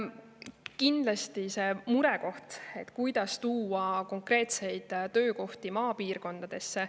Kindlasti see on murekoht, kuidas tuua konkreetseid töökohti maapiirkondadesse.